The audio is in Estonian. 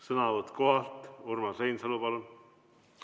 Sõnavõtt kohalt, Urmas Reinsalu, palun!